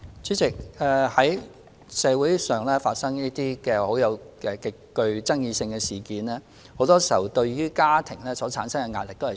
主席，當社會發生這種極具爭議性的事件時，往往會對家庭構成極大壓力。